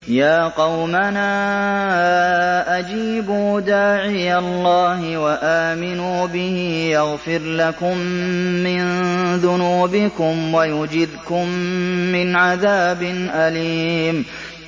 يَا قَوْمَنَا أَجِيبُوا دَاعِيَ اللَّهِ وَآمِنُوا بِهِ يَغْفِرْ لَكُم مِّن ذُنُوبِكُمْ وَيُجِرْكُم مِّنْ عَذَابٍ أَلِيمٍ